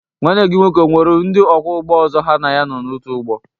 Nwanne gị nwoke o nwere ndị ọkwọ ụgbọ ọzọ ha na ya nọ n'otu ụgbọ?